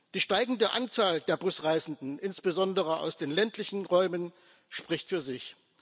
Die steigende Anzahl der Busreisenden insbesondere aus den ländlichen Räumen spricht für sich.